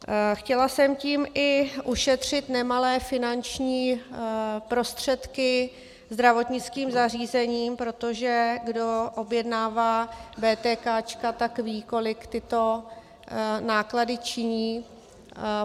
Chtěla jsem tím i ušetřit nemalé finanční prostředky zdravotnickým zařízením, protože kdo objednává vétékáčka, tak ví, kolik tyto náklady činí.